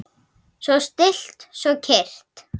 Svo stillt, svo kyrrt.